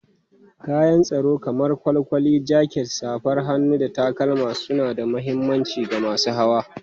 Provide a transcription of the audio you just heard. Kayan tsaro kamar kwalkwali, jaket, safar hannu, da takalma suna da mahimmanci ga masu hawa.